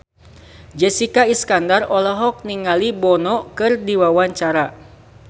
Jessica Iskandar olohok ningali Bono keur diwawancara